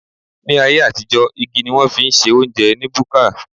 Ní ayé àtijó, igi ni wón fi ń se óúnjẹ ní búkà